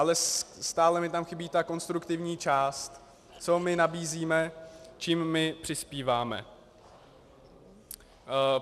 Ale stále mi tam chybí ta konstruktivní část, co my nabízíme, čím my přispíváme.